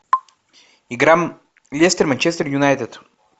игра лестер манчестер юнайтед